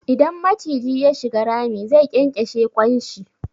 Idan maciji ya shiga rami, zai ƙyanƙyashe ƙwan shi.